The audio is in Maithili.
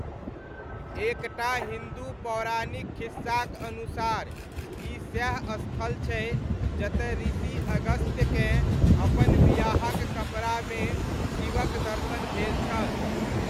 एक टा हिन्दू पौराणिक खिस्साक अनुसार ई सएह स्थल छै जतय ऋषि अगस्त्यकेँ अपन बियाहक कपड़ामे शिवक दर्शन भेल छल।